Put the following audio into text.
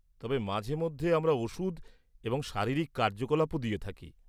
-তবে মাঝে মধ্যে আমরা ওষুধ এবং শারীরিক কার্যকলাপও দিয়ে থাকি।